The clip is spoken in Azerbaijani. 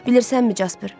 Bilirsənmi, Casper?